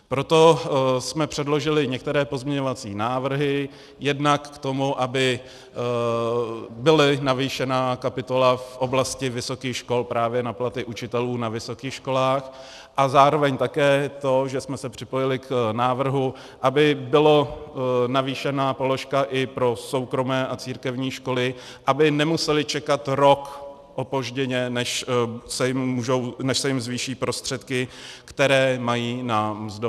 Proto jsme předložili některé pozměňovací návrhy jednak k tomu, aby byla navýšena kapitola v oblasti vysokých škol právě na platy učitelů na vysokých školách, a zároveň také to, že jsme se připojili k návrhu, aby byla navýšena položka i pro soukromé a církevní školy, aby nemusely čekat rok opožděně, než se jim zvýší prostředky, které mají na mzdy.